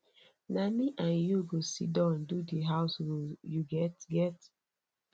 na me and you go siddon do di house rule you get get